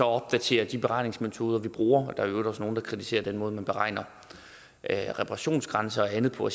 opdatere de beregningsmetoder man bruger og der er i øvrigt også nogle der kritiserer den måde man beregner reparationsgrænser og andet på